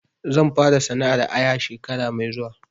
Zan fara sana'ar aya shekara mai zuwa